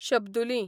शब्दुलीं